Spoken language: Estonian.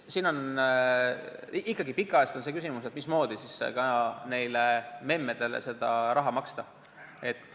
Siin on ikkagi pikka aega üleval olnud küsimus, mismoodi siis nendele memmedele seda raha maksta.